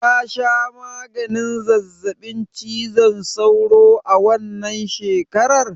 Ka sha maganin zazzaɓin cizon sauro a wannan shekarar?